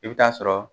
I bɛ taa sɔrɔ